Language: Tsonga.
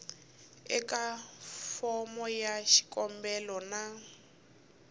eka fomo ya xikombelo na